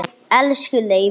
Elsku Leifur.